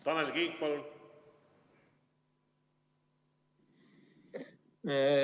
Tanel Kiik, palun!